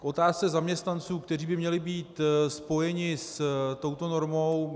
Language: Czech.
K otázce zaměstnanců, kteří by měli být spojeni s touto normou.